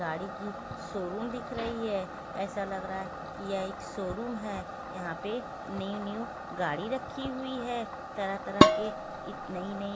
गाड़ी की शोरूम दिख रही है ऐसा लग रहा है कि यह एक शोरूम है यहाँ पे न्यू-न्यू गाड़ी रखी हुई है तरह-तरह के नई नई--